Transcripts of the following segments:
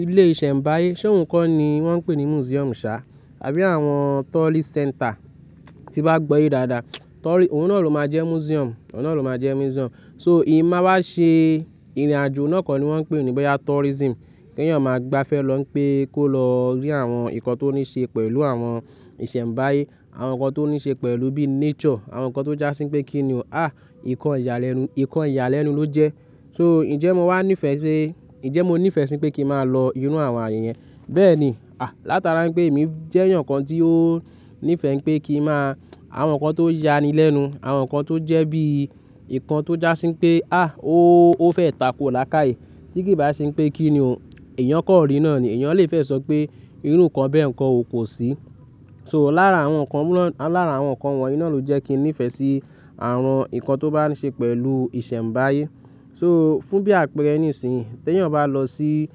Ilé ìṣẹ̀mbáyé, ṣé ohun kó ni wọ́n ń pè ní museum ṣá, àbí àwọn tourist center tí bá gbọ́yé dáadáa? Tourist, òun náà ló máa jẹ́ museum, òun náà ló máa jẹ́ museum. So ì máa wá ṣe ìrìnàjò náà kọ́ ni wọ́n ń pè ní bóyá tourism. Kí èèyàn máa gba'fẹ́ lọ pé kó lọ rí àwọn nǹkan tó ní ṣe pẹ̀lú àwọn ìṣẹ̀mbáyé, àwọn nǹkan tó ní ṣe pẹ̀lú bí nature, àwọn nǹkan tó jásí pé kí ni o, à nǹkan ìyàlẹ́nu, nǹkan ìyàlẹ́nu ló jẹ́. So ǹjẹ́ mo wá nífẹ̀ẹ́ sí, ǹjẹ́ mo nífẹ̀ẹ́ sí pé kíi máa lọ irú àwọn ààyè yẹn? Bẹ́ẹ̀ni. À látara npé èmi jẹ́ èèyàn kan tí ó nífẹ̀ẹ́ pé kíi máa àwọn nǹkan tó ya ni lẹ́nu, àwọn nǹkan tó jẹ́ bí i ìkan tó jásí pé à ó, ó fẹ́ takò lákaàyè. Tí kì bá ṣe pé kí ni o, èèyàn kàn rí náà ni, èèyàn lè fẹ́ sọ pé irú nǹkan bẹ́ẹ̀ nǹkan o kò sí. So lára àwọn nǹkan, lára àwọn nǹkan wọ̀nyí náà ló jẹ́ kí n nífẹ̀ẹ́ sí àwọn nǹkan tó bá ń ṣe pẹ̀lú ìṣẹ̀mbáyé. So fún bí àpèẹrẹ nísinyí, t'èèyàn bá lọ sí,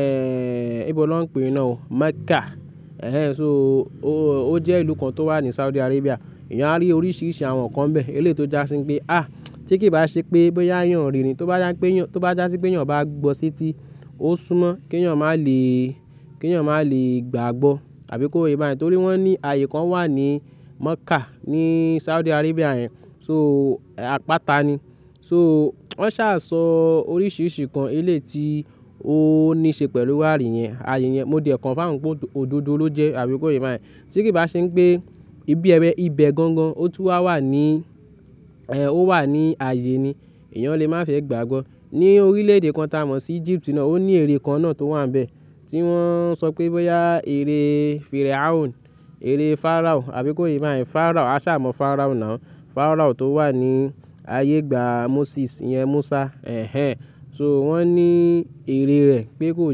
ẹ́ẹ́ íbo lọ ń pè ná o Mecca. Ẹ̀ẹ́ so ó, ó jẹ́ ìlú kan tó wà ní Saudi Arabia. Ẹ̀yàn á rí oríṣiríṣi àwọn nǹkan nbẹ́ẹ̀. Eléyìí tó jásí pé à tí kì í bá ṣe pé bóyá èèyàn rí i ní, tó bá jásí pé èèyàn, tó bá jásí pé èèyàn bá gbọ́ s'éti, ó súnmọ́ k'èèyàn máa lè, k"èèyàn máa lè gbàgbọ́. Àbí kó yé bá yẹn. Torí wọ́n ní ààyè kan wà ní Mecca ní Saudi Arabia yẹn. So àpáta ni. So wọ́n sá sọ oríṣiríṣi nnkan eléyìí tí ó ní ṣe pẹ̀lú ààyè yẹn, ààyè yẹn. Mo dẹ̀ confirm pé òdodo ló jẹ́. Àbí kó yé bá yẹn. Tí kì í bá ṣe npé ibi ẹbẹ, ibẹ̀ gangan ó tún wà ní, ẹ́ẹ́ ó wà ní ààyè ni. Ẹ̀yàn lè má fẹ́ gbàgbọ́. Ni orílẹ̀ èdè kan tá a mọ̀ sí Egypt nàá, ó ní eré kan náà tó wà nbẹ̀ tí wọ́n ń sọ pé bóyá eré Pharaoh, eré Pharaoh. Àbí kó yé bá yẹn. Pharaoh, a sá mọ̀ Pharaoh now. Pharaoh tó wà ní ayé ìgbà Moses ìyẹn Musa. Ẹ̀ẹ́ ẹ́ẹ́. So wọ́n ní eré rẹ̀ pé kó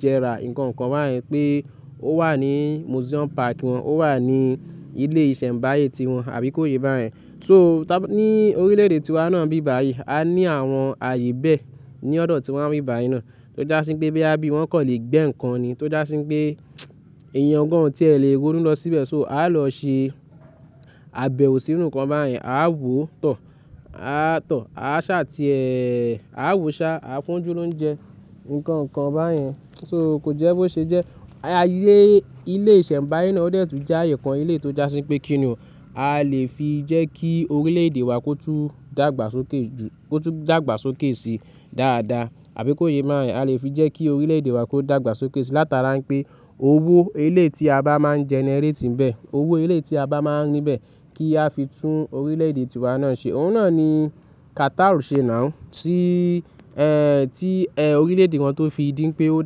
jẹrà nǹkan kan bá yẹn pé ó wà ní museum park wọn, ó wà ní ilé ìṣẹ̀mbáyé tí wọn. Àbí kó yé bá yẹn. So tá bá ní orílẹ̀ èdè tí wá náà nbí báyìí, a ní àwọn ààyè bẹ́ẹ̀ ní ọ̀dọ̀ tiwa ń bí báyìí náà tó jásí pé bóyá bí wọ́n kàn lè gbẹ́ nǹkan ni tó jásí pé èèyàn gan-an ò tiẹ̀ lè ronú lọ síbẹ̀. So a lọ ṣe àbẹ̀wò sí irú nǹkan bá yẹn. A wò tọ̀, a tọ̀, a sá ti ẹ́ẹ́ẹ́, a wò sá, a fúnójú lọuńjẹ nǹkan kan bá yẹn. So kò jẹ́ bó ṣe jẹ́. Ayé ilé ìṣẹ̀mbáyé náà ó dẹ̀ tún jẹ́ ààyè kan eléyìí tó jásí pé kí ni o. A lè fi jẹ́ kí orílẹ̀ èdè wa kó tún dàgbàsókè ju, kó tún dàgbàsókè sí dáadáa. Àbí kó yé báa yẹn. A lè fi jẹ́ kí orílẹ̀ èdè wa kó dàgbàsókè sí látara npé owó eléyìí tí a bá máa ń generate nbẹ̀, owó eléyìí tí a bá máa ń rí nbẹ̀ kí a fi tún orílẹ̀ èdè tiwa náà ṣe. Òun náà ni Qatar ń ṣe now tí, ẹ́ẹ́ tí ẹ́ẹ́ orílẹ̀ èdè wọn tó fi dí npé ó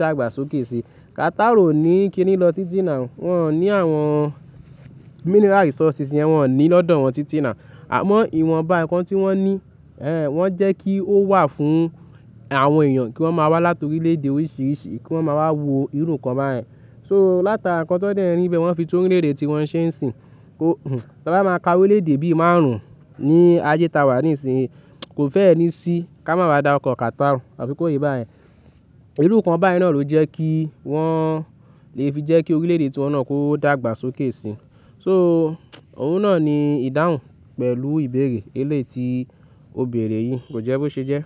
dàgbàsókè sí. Qatar ò ní kíni lọ títí now. Wọn ò ní àwọn mineral resources yẹn, wọ́n ò ní lọ́dọ̀ wọn títí náà. Àmọ́ ìwọ̀nbá nǹkan tí wọ́n ní, ẹ́ẹ́ wọ́n jẹ́ kí ó wà fún àwọn èèyàn kí wọ́n máa wá láti orílẹ̀ èdè oríṣiríṣi kí wọ́n máa wá wo irú nǹkan bá yẹn. So látara nǹkan tó dẹ́ n ri nbẹ̀ wọ́n fi tún orílẹ̀ èdè tíwọn ṣe ń sìn. Wó, táabá máa ka orílẹ̀ èdè bí i márùn-ún ní ayé ta wà ní ìsìnyí. Kò fẹ́ẹ ni sí ká máa má dárúkọ̀ Qatar. Àbí kó yé bá yẹn. Irú nǹkan bá yẹn náà ló jẹ́ kí wọ́n lè fi jẹ́ kí orílẹ̀ èdè tí wọn náà kó dàgbàsókè sí. So òun náà ni ìdáhùn pẹ̀lú ìbéèrè eléyìí tí ó bèrè yìí. Kò jẹ́ bó ṣe jẹ́.